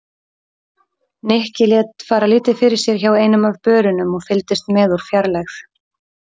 Nikki lét fara lítið fyrir sér hjá einum af börunum og fylgdist með úr fjarlægð.